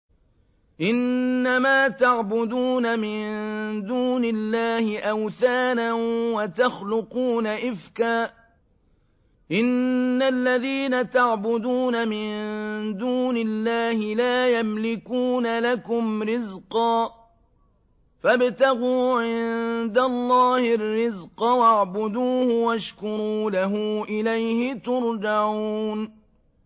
إِنَّمَا تَعْبُدُونَ مِن دُونِ اللَّهِ أَوْثَانًا وَتَخْلُقُونَ إِفْكًا ۚ إِنَّ الَّذِينَ تَعْبُدُونَ مِن دُونِ اللَّهِ لَا يَمْلِكُونَ لَكُمْ رِزْقًا فَابْتَغُوا عِندَ اللَّهِ الرِّزْقَ وَاعْبُدُوهُ وَاشْكُرُوا لَهُ ۖ إِلَيْهِ تُرْجَعُونَ